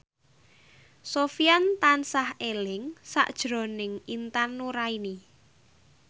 Sofyan tansah eling sakjroning Intan Nuraini